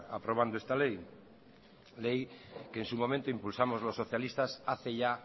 aprobando esta ley ley que en su momento impulsamos los socialistas hace ya